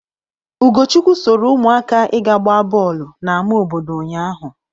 Ugochukwu soro ụmụaka ịga gbaa bọọlụ n'ama obodo ụnyaahụ.